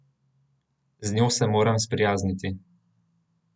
Z njo se moram sprijazniti.